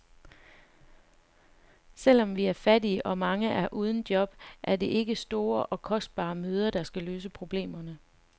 Selvom vi er fattige, og mange er uden job, er det ikke store og kostbare møder, der kan løse problemerne.